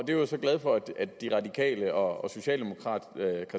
jeg var så glad for at de radikale og socialdemokratiet